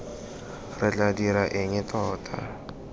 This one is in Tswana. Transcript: re tla dira eng tota